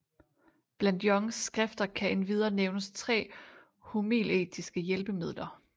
Blandt jonges skrifter kan endvidere nævnes 3 homiletiske hjælpemidler